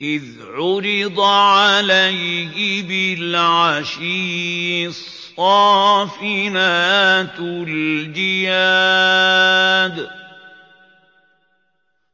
إِذْ عُرِضَ عَلَيْهِ بِالْعَشِيِّ الصَّافِنَاتُ الْجِيَادُ